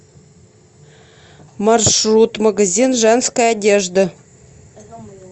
маршрут магазин женской одежды